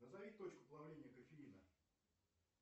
назови точку плавления кофеина